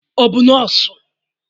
Ọ bụ nọọsụ?